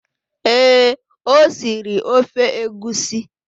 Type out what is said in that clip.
Ee, o siri ofe egusi